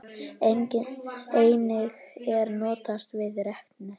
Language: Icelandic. Einnig er notast við reknet.